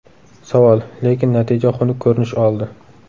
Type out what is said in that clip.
Savol: Lekin natija xunuk ko‘rinish oldi.